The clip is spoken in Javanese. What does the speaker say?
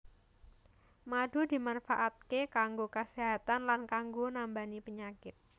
Madu dimanfaatké kanggo kaséhatan lan kanggo nambani penyakit